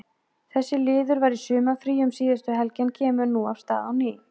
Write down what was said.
Þessi liður var í sumarfríi um síðustu helgi en kemur nú af stað á ný.